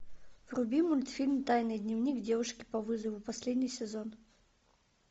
вруби мультфильм тайный дневник девушки по вызову последний сезон